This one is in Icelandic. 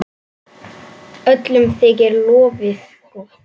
Öllum þykir lofið gott.